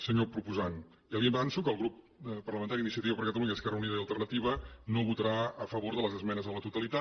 senyor proposant ja li avanço que el grup parlamentari d’iniciativa per catalunya esquerra unida i alternativa no votarà a favor de les esmenes a la totalitat